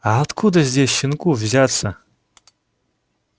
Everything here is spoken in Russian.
а откуда здесь щенку взяться